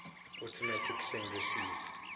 automatic send receive